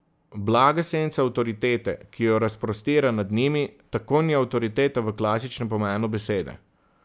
Blaga senca avtoritete, ki jo razprostira nad njimi, tako ni avtoriteta v klasičnem pomenu besede.